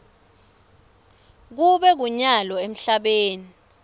kube kunyalo emhlabeni